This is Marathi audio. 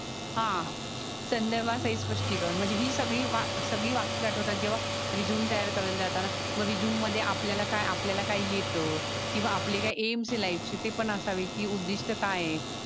हा संदर्भासहित स्पष्टी कारण म्हणजे ही सगळी व वाक्य आटवतात जेव्हा रेझुमे तयार करायला जाताना. मग रेझुमे मध्ये आपल्याल आपल्याला काय येत कीव आपले काही एम्स असावेत कि उदिष्ट काय ये?